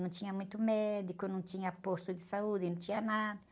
Não tinha muito médico, não tinha posto de saúde, não tinha nada.